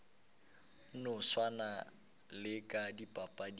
no swana le ka dipapading